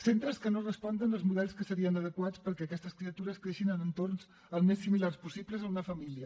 centres que no responen als models que serien adequats perquè aquestes criatures creixin en entorns al més similars possible a una família